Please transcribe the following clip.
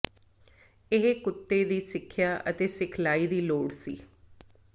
ਇਹ ਕੁੱਤੇ ਦੀ ਸਿੱਖਿਆ ਅਤੇ ਸਿਖਲਾਈ ਦੀ ਲੋੜ ਸੀ